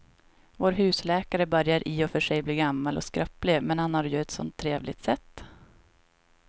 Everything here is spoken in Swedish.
Vår husläkare börjar i och för sig bli gammal och skröplig, men han har ju ett sådant trevligt sätt!